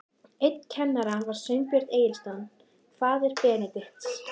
Einn kennara var Sveinbjörn Egilsson, faðir Benedikts.